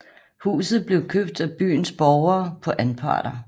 Huset blev købt af byens borgere på anparter